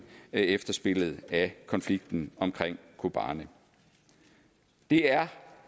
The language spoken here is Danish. efterspillet af konflikten omkring kobani det er